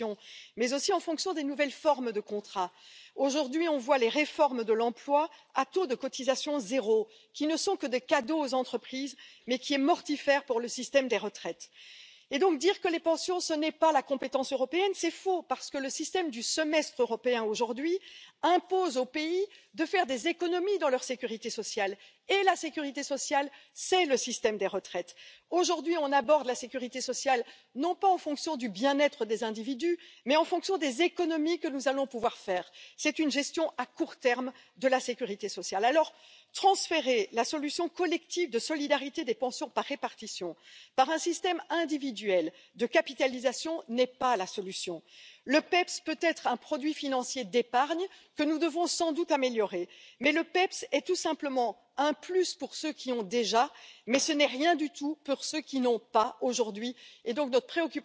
sein. Es ist nun völlig falsch, wenn die Kollegen von der linken Seite und die Kollegen von der ganz rechten Seite darin eine bösartige Privatisierung sehen. Denn selbstverständlich ist es so, dass private Unternehmen das anbieten können. Aber genauso gut ist es möglich, dass der Staat ein Kapitaldeckungsverfahren anbietet. Es spricht doch eigentlich nichts dagegen, dass auch der Staat einen Vermögensfonds anspart und dass beispielsweise versicherungsfremde Leistungen, die zurzeit dem Umlageverfahren zur Last fallen, aus einem solchen Vermögensfonds oder aus den Erträgen des Vermögensfonds gespeist werden. Viele Staaten haben heutzutage schon das, was man einen sovereign wealth fund nennt, aber nur wenige nutzen es tatsächlich dazu, das drängende Problem der Alterssicherung aufzugreifen. Wir könnten das tun. Wir könnten mit den Mitteln dieses Vermögensfonds in dringend nötige Aufgaben investieren, beispielsweise im Bereich der Infrastrukturinvestitionen. Wir könnten unternehmerische Investitionen fördern mit hohen Ertragsraten und könnten die Erträge nutzen, um das Alter besser abzusichern. All das sind Möglichkeiten, die